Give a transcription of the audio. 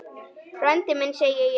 Frændi minn, segi ég.